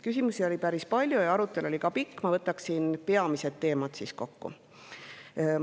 Küsimusi oli päris palju ja arutelu oli pikk, ma võtan peamised teemad kokku.